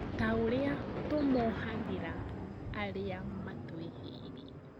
Taũrĩa tũmohagĩra arĩá matwĩhĩirie